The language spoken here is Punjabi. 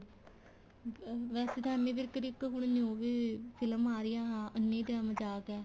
ਅਹ ਵੈਸੇ ਤਾਂ ਏਮੀ ਵਿਰਕ ਦੀ ਇੱਕ new ਵੀ film ਆ ਰਹੀ ਏ ਅੰਨੀ ਦੇ ਮਜਾਕ ਏ